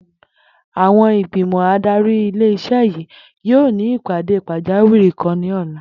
Àwo̩n ìgbìmò̩ adarí ilé is̩é̩ yìí yóò ní ìpàdé pàjáwìrì kan ní ò̩la